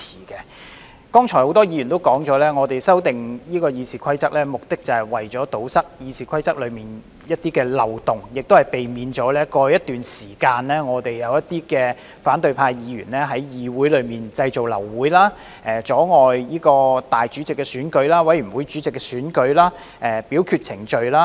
剛才多位議員也提到，我們修訂《議事規則》的目的，是為了堵塞《議事規則》的一些漏洞，以避免過去一段時間立法會內一些反對派議員在議會製造流會、阻礙立法會主席的選舉、委員會主席的選舉、表決程序等。